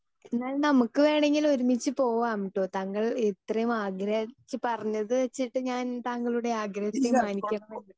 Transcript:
speaker 2 എന്നാൽ നമുക്ക് വേണമെങ്കിൽ ഒരുമിച്ച് പോകാംട്ടോ താങ്കൾ ഇത്രയും ആഗ്രഹിച്ച് പറഞ്ഞത് വെച്ചിട്ട് ഞാൻ താങ്കളുടെ ആഗ്രഹത്തെ മാനിക്കണമല്ലോ